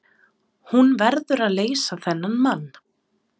Hún verður að leysa þennan mann.